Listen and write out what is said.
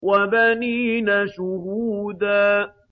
وَبَنِينَ شُهُودًا